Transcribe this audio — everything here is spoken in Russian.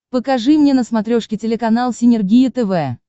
покажи мне на смотрешке телеканал синергия тв